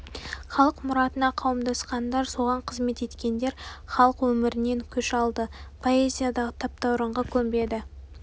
халық мұратына қауымдасқандар соған қызмет еткендер халық өмірінен күш алды поэзиядағы таптаурынға көнбеді